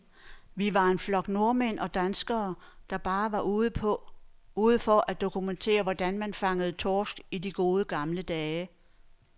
Vi var en flok nordmænd og danskere, der bare var ude for at dokumentere, hvordan man fangede torsk i de gode, gamle dage.